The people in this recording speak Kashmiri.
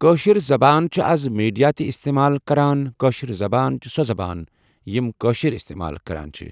کٲشِر زَبان چھِ آزٕ میٖڈیا تہِ اِستعمال کران کٲشِر زَبان چھِ سۄ زَبان یِم کٲشِر اِستعمال کران چھِ